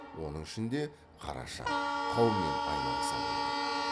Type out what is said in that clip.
оның ішінде қараша қаумен айналаса болды